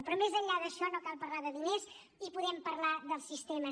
però més enllà d’això no cal parlar de diners i podem parlar dels sistemes